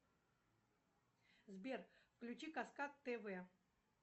сбер включи каскад тв